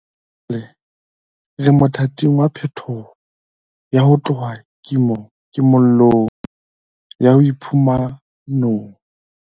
Jwale re mothating wa phetoho ya ho tloha kimo llong ho ya boiphumanong.